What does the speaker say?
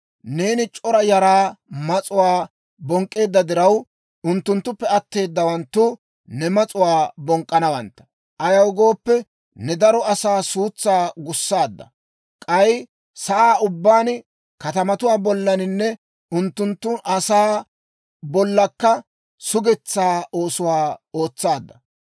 Neeni c'ora yaraa mas'uwaa bonk'k'eedda diraw, unttunttuppe atteeddawanttu ne mas'uwaa bonk'k'anawantta. Ayaw gooppe, ne daro asaa suutsaa gussaadda; k'ay sa'aa ubbaan, katamatuwaa bollanne unttunttun asaa bollakka sugetsaa oosuwaa ootsaadda.